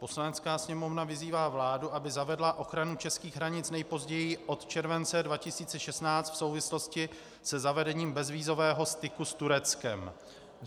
Poslanecká sněmovna vyzývá vládu, aby zavedla ochranu českých hranic nejpozději od července 2016 v souvislosti se zavedením bezvízového styku s Tureckem.